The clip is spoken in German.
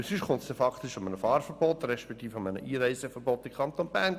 Sonst kommt dies faktisch einem Fahr- respektive einem Einreiseverbot in den Kanton gleich.